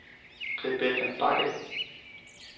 Rebecca Bagge